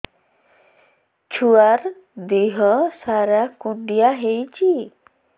ଛୁଆର୍ ଦିହ ସାରା କୁଣ୍ଡିଆ ହେଇଚି